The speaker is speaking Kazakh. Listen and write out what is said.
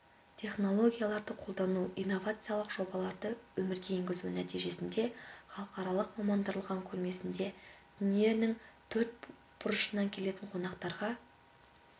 технологияларды қолдану инновациялық жобаларды өмірге енгізу нәтижесінде халықаралық мамандандырылған көрмесіне дүниенің төрт бұрышынан келетін қонақтарға